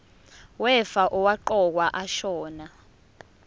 wefa owaqokwa ashona